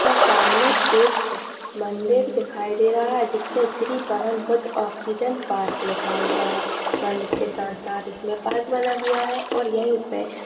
सामने एक मंदिर दिखाई दे रहा है जिसपे श्री पवन पुत्र ऑक्सीजन पार्क लिखा हुआ हैं और अंदर के साथ साथ पाइप बना हुआ हैं और यही पे--